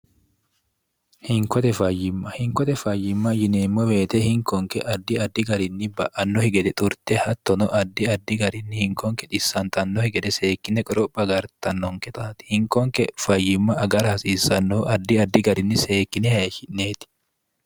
hinkote fayyimma hinkote fayyimma yineemmo beete hinkonke addi addi garinni ba'annohi gede xurte hattono addi addi garinni hinkonke dissantannohi gede seekkine qoropha agartannonke taati hinkonke fayyimma agar hasiissannohu addi addi garinni seekkine heeshi'neeti